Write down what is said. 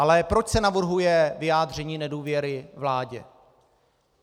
Ale proč se navrhuje vyjádření nedůvěry vládě?